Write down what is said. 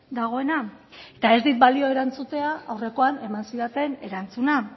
dagoena eta ez dit balio erantzutea aurrekoan eman zidaten erantzuna